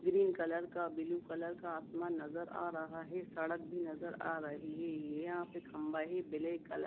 green colour का blue colour का आसमान नजर आ रहा है सड़क भी नजर आ रही है यहां पर खंबा ही ब्लैक कलर--